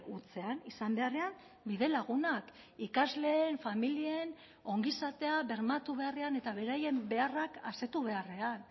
hutsean izan beharrean bide lagunak ikasleen familien ongizatea bermatu beharrean eta beraien beharrak asetu beharrean